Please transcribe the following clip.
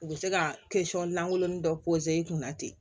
U bɛ se ka lankolon dɔ pozo kunna ten